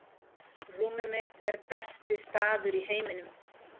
rúmið mitt er besti staður í heiminum